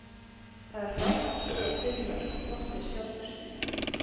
Það er frábært að skora fimm mörk og gott fyrir sjálfstraustið.